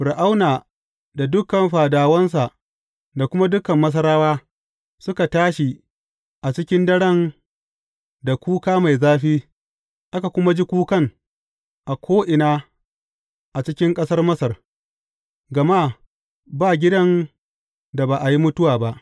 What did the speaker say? Fir’auna da dukan fadawansa da kuma dukan Masarawa, suka tashi a cikin daren da kuka mai zafi, aka kuma ji kukan a ko’ina a cikin ƙasar Masar, gama ba gidan da ba a yi mutuwa ba.